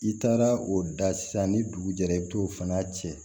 I taara o da sisan ni dugu jɛra i bi t'o fana cɛ